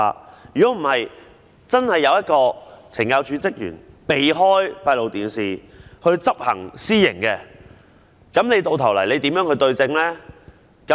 否則，如果真的有懲教署職員避開閉路電視來執行私刑，你又如何對證呢？